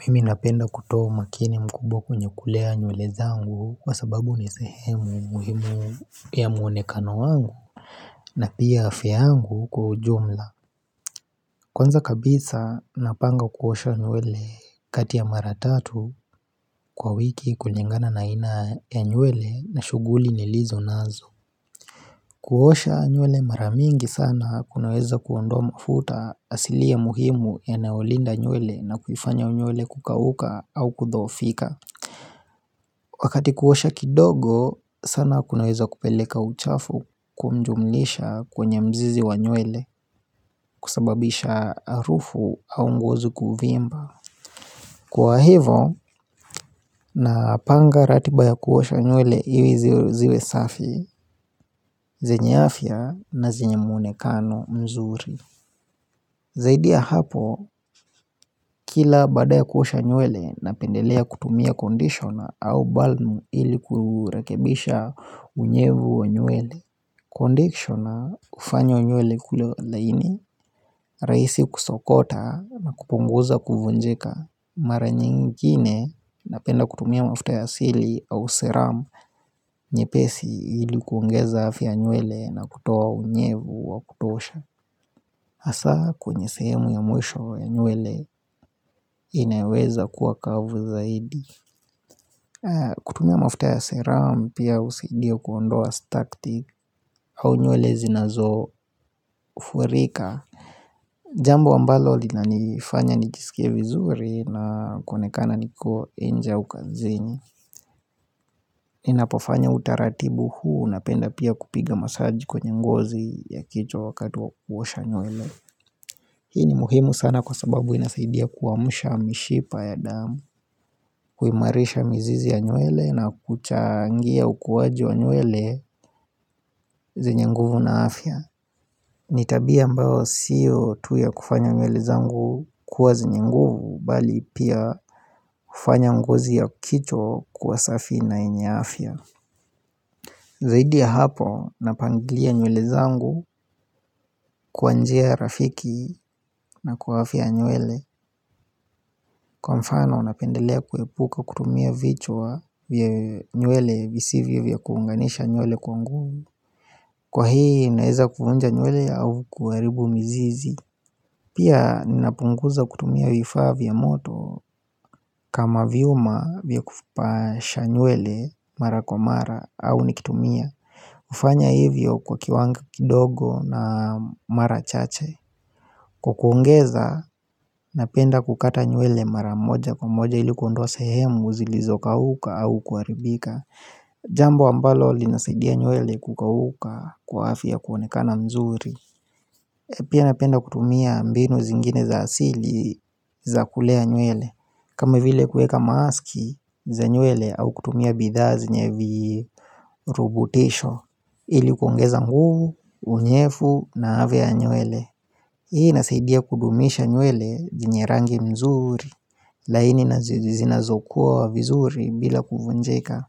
Mimi napenda kutoa umakini mkubwa kwenye kulea nywele zangu kwa sababu nisehemu muhimu ya muonekano wangu na pia afya yangu kwa ujumla. Kwanza kabisa napanga kuosha nywele kati ya maratatu kwa wiki kulingana naina ya nywele na shuguli nilizo nazo. Kuosha nywele maramingi sana kunaweza kuondoa mafuta asili ya muhimu yanaolinda nywele na kuifanya nywele kukauka au kudhoofika. Wakati kuosha kidogo, sana kunaweza kupeleka uchafu kumjumnisha kwenye mzizi wa nywele kusababisha arufu au ngozi kuvimba. Kwa hivo, napanga ratiba ya kuosha nywele iwi ziwe safi, zenye afya na zenye muonekano mzuri. Zaidi ya hapo, kila baadaya kuosha nywele na pendelea kutumia kondishona au balnu iliku urekebisha unyevu wanywele. Kondishona ufanywa nywele kule laini, raisi kusokota na kupunguza kuvunjika Mara nyingine napenda kutumia mafuta ya asili au seramu nye pesi ilikuongeza afya ya nywele na kutuoa unyevu wa kutosha Asa kwenye sehemu ya mwisho ya nywele inaweza kuwa kavu zaidi kutumia mafuta ya seramu pia usaidia kuondoa staktik au nywele zinazo furika Jambo ambalo lina nifanya nijisikie vizuri na kuonekana niko inje au kazini. Ninapofanya utaratibu huu na penda pia kupiga masaji kwenye ngozi ya kichwa wakati wa kuosha nywele. Hii ni muhimu sana kwa sababu inasaidia kuamsha mishipa ya damu, kuimarisha mizizi ya nywele na kuchangia ukuaji wa nywele zenye nguvu na afya. Nitabia ambao sio tu ya kufanya nywele zangu kuwa zenyenguvu Bali pia hufanya ngozi ya kicho kuwa safi na enye afya Zaidi ya hapo napangilia nywele zangu kwanjia rafiki na kuwafia nywele Kwa mfano napendelea kuepuka kutumia vichwa vya nywele visivyo vya kuunganisha nywele kwa nguvu Kwa hii inaeza kuvunja nywele au kuaribu mizizi Pia ninapunguza kutumia vifaa vya moto kama vyuma vya kufupasha nywele mara kwa mara au nikitumia ufanya hivyo kwa kiwango kidogo na mara chache Kwa kuongeza napenda kukata nywele mara moja kwa moja ilikuondoa sehemu zilizoka uka au kuaribika Jambo ambalo linasadia nywele kukauka kwa afya kuonekana mzuri Pia napenda kutumia mbinu zingine za asili za kulea nywele kama vile kueka maski za nywele au kutumia bidhaa zinye vii rubutisho Ili kuongeza nguvu, unyefu na avia ya nywele Hi inasaidia kudumisha nywele zenye rangi mzuri laini na zezi zina zokua vizuri bila kuvunjeka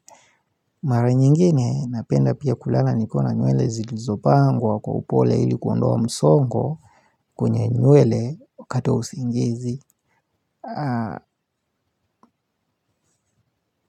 Mara nyingine napenda pia kulala nikiwa na nywele zilizopangwa kwa upole ili kuondoa msongo kwenye nywele wakati wa usingizi.